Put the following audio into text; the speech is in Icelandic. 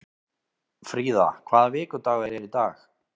Fríða, hvaða vikudagur er í dag?